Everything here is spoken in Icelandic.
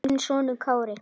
Þinn sonur Kári.